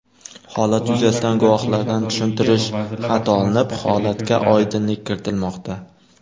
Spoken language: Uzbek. Holat yuzasidan guvohlardan tushuntirish xati olinib, holatga oydinlik kiritilmoqda.